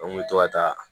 An kun bɛ to ka taa